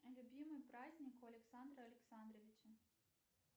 любимый праздник у александра александровича